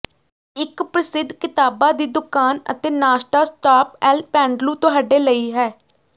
ਇੱਕ ਪ੍ਰਸਿੱਧ ਕਿਤਾਬਾਂ ਦੀ ਦੁਕਾਨ ਅਤੇ ਨਾਸ਼ਤਾ ਸਟਾਪ ਅਲ ਪੈਂਡਲੂ ਤੁਹਾਡੇ ਲਈ ਹੈ